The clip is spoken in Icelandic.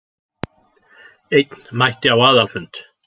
Einn mætti á aðalfund